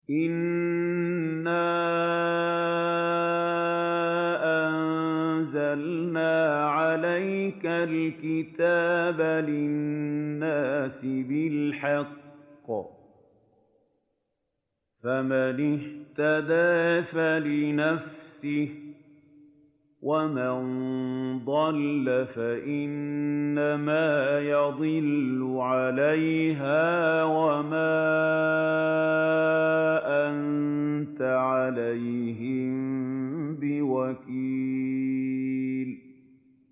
إِنَّا أَنزَلْنَا عَلَيْكَ الْكِتَابَ لِلنَّاسِ بِالْحَقِّ ۖ فَمَنِ اهْتَدَىٰ فَلِنَفْسِهِ ۖ وَمَن ضَلَّ فَإِنَّمَا يَضِلُّ عَلَيْهَا ۖ وَمَا أَنتَ عَلَيْهِم بِوَكِيلٍ